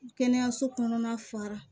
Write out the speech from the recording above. Kɛnɛyaso kɔnɔna fara